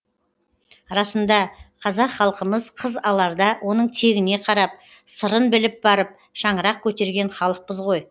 расында қазақ халқымыз қыз аларда оның тегіне қарап сырын біліп барып шаңырақ көтерген халықпыз ғой